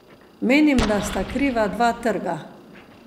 Menim, da sta kriva dva trga.